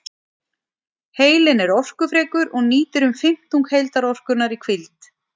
Heilinn er orkufrekur og nýtir um fimmtung heildarorkunnar í hvíld.